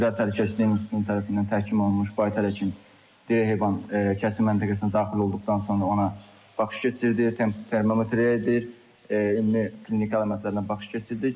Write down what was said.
Qida təhlükəsizliyi institutu tərəfindən təhkim olunmuş baytar həkim diri heyvan kəsim məntəqəsinə daxil olduqdan sonra ona baxış keçirdi, termometriya edir, ümumi klinika əlamətlərinə baxış keçirdik.